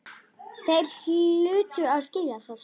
Þeir hlutu að skilja það.